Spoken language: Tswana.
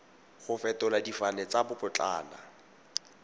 go fetola difane tsa babotlana